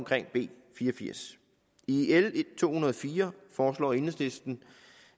b fire og firs i l to hundrede og fire foreslår enhedslisten